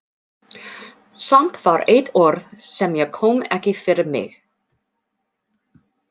Samt var eitt orð sem ég kom ekki fyrir mig.